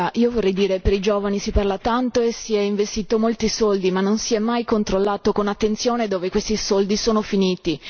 Io vorrei dire che per i giovani si parla tanto e si sono investiti molti soldi ma non si è mai controllato con attenzione dove questi soldi sono finiti.